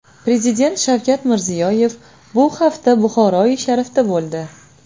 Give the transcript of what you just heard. Prezident Shavkat Mirziyoyev bu hafta Buxoroi sharifda bo‘ldi .